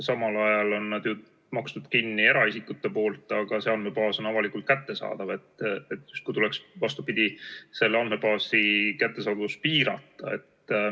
Samal ajal on eraisikud nad ju kinni maksnud, aga see andmebaas on avalikult kättesaadav, nii et tuleks justkui selle andmebaasi kättesaadavust piirata.